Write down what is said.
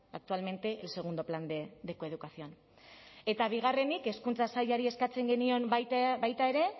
actualmente el segundo plan de coeducación eta bigarrenik hezkuntza sailari eskatzen genion baita ere